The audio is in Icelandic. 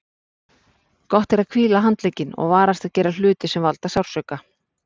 Gott er að hvíla handlegginn og varast að gera hluti sem valda sársauka.